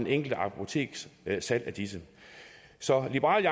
enkelte apoteks salg af disse så liberal